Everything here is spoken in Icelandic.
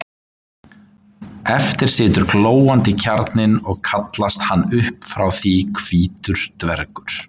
eftir situr glóandi kjarninn og kallast hann upp frá því hvítur dvergur